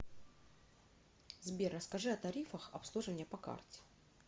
сбер расскажи о тарифах обслуживания по карте